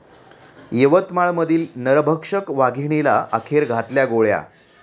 यवतमाळमधील नरभक्षक वाघिणीला अखेर घातल्या गोळ्या